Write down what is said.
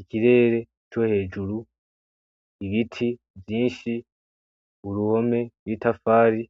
Ikirere co hejuru, ibiti vyinshi, uruhome rw'itafari,